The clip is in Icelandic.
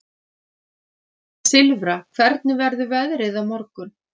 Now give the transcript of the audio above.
Silfra, hvernig verður veðrið á morgun?